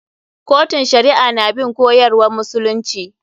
Kotun shari'a na bin koyarwan musulunci.